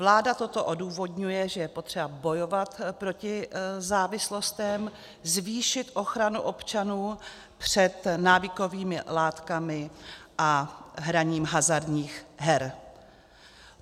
Vláda toto odůvodňuje, že je potřeba bojovat proti závislostem, zvýšit ochranu občanů před návykovými látkami a hraním hazardních her.